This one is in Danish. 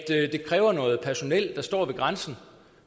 det kræver noget personel der står ved grænsen